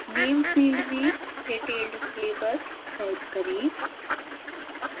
name field में detailed syllabus type करें